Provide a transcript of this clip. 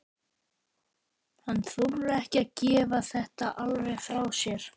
Hann þorir ekki að gefa þetta alveg frá sér.